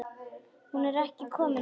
Hún er ekki komin út.